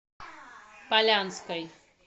полянской